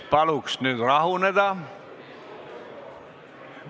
Paluks nüüd rahuneda!